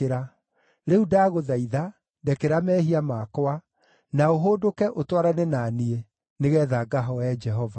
Rĩu ndagũthaitha, ndekera mehia makwa, na ũhũndũke ũtwarane na niĩ, nĩgeetha ngahooe Jehova.”